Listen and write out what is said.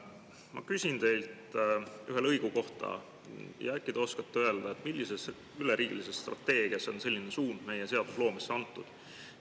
Ma küsin teilt ühe lõigu kohta, äkki te oskate öelda, millises üleriigilises strateegias on selline suund meie seadusloomesse antud.